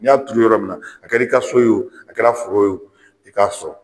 N y'a turu yɔrɔ min na a kɛr'i ka so ye o a kɛra foro ye o i k'a sɔrɔ